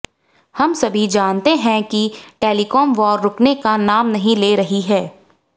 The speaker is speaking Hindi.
हम सभी जानते हैं कि टेलीकॉम वॉर रुकने का नाम नहीं ले रही है